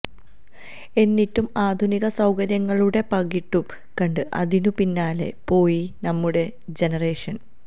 എന്നിട്ടും ആധുനിക സൌകര്യങ്ങളുടെ പകിട്ടു കണ്ട് അതിനു പിന്നാലെ പോയി നമ്മുടെ ജനറേഷന്